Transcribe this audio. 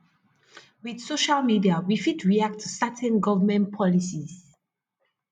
with social media we fit react to certain government policies